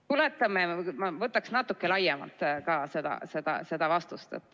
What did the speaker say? Ma võtaksin natuke laiemalt ka seda vastust.